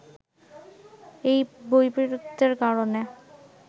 এই বৈপরীত্যের কারণে